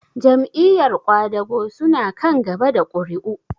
Jam'iyar ƙwadago su na kan gaba da ƙuri'u?